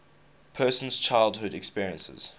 person's childhood experiences